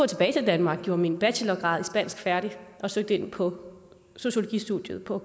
tilbage til danmark gjorde min bachelorgrad i spansk færdig og søgte ind på sociologistudiet på